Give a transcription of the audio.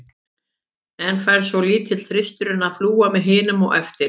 En fær svo litli þristurinn að fljúga með hinum á eftir?